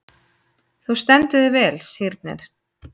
Þú stendur þig vel, Sírnir!